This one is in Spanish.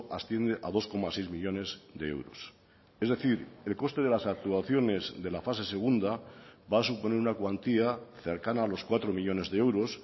asciende a dos coma seis millónes de euros es decir el coste de las actuaciones de la fase segunda va a suponer una cuantía cercana a los cuatro millónes de euros